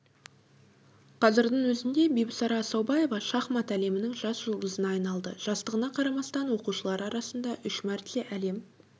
қазірдің өзінде бибісара асаубаева шахмат әлемінің жас жұлдызына айналды жастығына қарамастан оқушылар арасында үш мәрте әлем